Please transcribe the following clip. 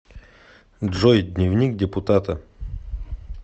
джой дневник депутата